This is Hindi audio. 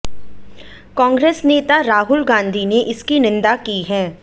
कांग्रेस नेता राहुल गांधी ने इसकी निंदा की है